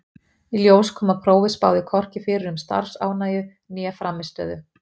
Í ljós kom að prófið spáði hvorki fyrir um starfsánægju né frammistöðu.